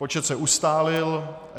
Počet se ustálil.